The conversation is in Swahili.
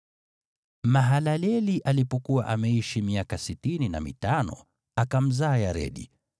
Mahalaleli alipokuwa ameishi miaka sitini na mitano, akamzaa Yaredi.